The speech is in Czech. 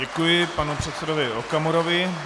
Děkuji panu předsedovi Okamurovi.